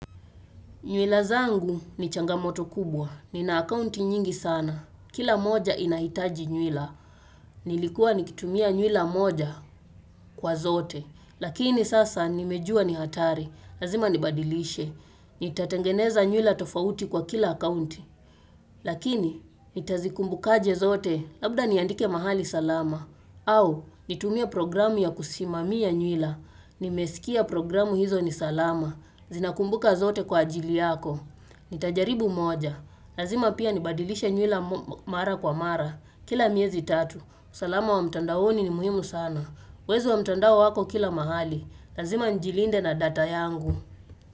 Nywele zangu ni changamoto kubwa. Nina akaunti nyingi sana. Kila moja inahitaji nywila. Nilikuwa nikitumia nywila moja kwa zote. Lakini sasa nimejua ni hatari. Lazima nibadilishe. Nitatengeneza nywila tofauti kwa kila akaunti. Lakini nitazikumbukaje zote labda niandike mahali salama. Au nitumie programu ya kusimamia nywila. Nimesikia programu hizo ni salama. Zina kumbuka zote kwa ajili yako Nitajaribu moja lazima pia nibadilishe nywila mara kwa mara Kila miezi tatu usalama wa mtandaoni ni muhimu sana Wezi wa mtandao wako kila mahali lazima njilinde na data yangu.